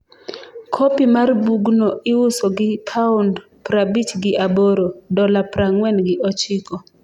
Kopi mar bugno iuso gi paond prabich gi aboro (dola prang'wen gi ochiko).